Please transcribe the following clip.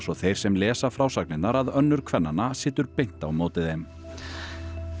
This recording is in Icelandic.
þeir sem lesa frásagnirnar að önnur kvennanna situr beint á móti þeim